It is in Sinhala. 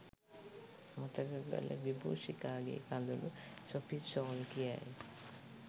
අමතක කළ විබූෂිකාගේ කඳුළු සොෆී ෂෝල් කියයි.